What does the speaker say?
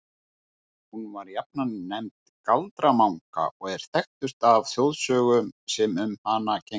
Hún var jafnan nefnd Galdra-Manga og er þekktust af þjóðsögum sem um hana gengu.